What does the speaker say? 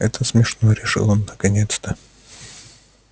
это смешно решил он наконец-то